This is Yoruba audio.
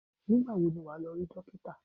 Nígbà wo ni wà á lọ rí dókítà?